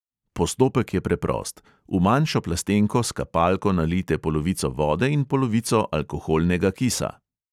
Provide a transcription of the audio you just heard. Postopek je preprost: v manjšo plastenko s kapalko nalijte polovico vode in polovico alkoholnega kisa.